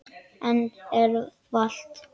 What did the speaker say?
Ennið er þvalt.